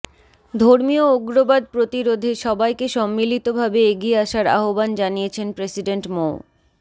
ধর্মীয় উগ্রবাদ প্রতিরোধে সবাইকে সম্মিলিতভাবে এগিয়ে আসার আহ্বান জানিয়েছেন প্রেসিডেন্ট মো